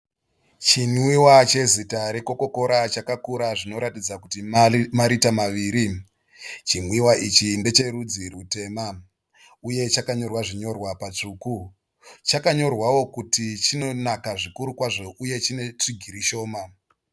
Chinwiwa chezita reCoca-cola chakakura zvinoratidza kuti marita maviri. Chimwiwa ichi ndecherudzi rutema uye chakanyorwa zvinyorwa patsvuku. Chakanyorwawo kuti chinonaka zvikuru kwazvo uye chine tsvigiri shoma.